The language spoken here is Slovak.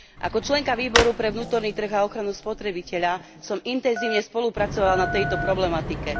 Ako členka Výboru pre vnútorný trh a ochranu spotrebiteľa som intenzívne spolupracovala na tejto problematike.